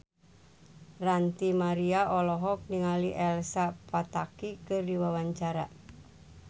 Ranty Maria olohok ningali Elsa Pataky keur diwawancara